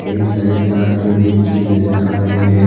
ये सारे ताड़ के वृक्ष भी नजर आ रहे हैं।